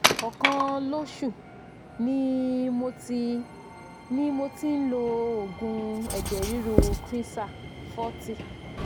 ọ̀kan lo oṣù ni mo ti ni mo ti ń lo oògùn eje riru cresar 40